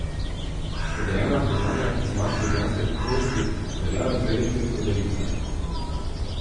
Podeljena priznanja znak ljubljanske kakovosti veljajo dve leti od podelitve.